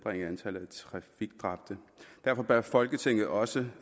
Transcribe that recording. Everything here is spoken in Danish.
trafikdræbte derfor bør folketinget også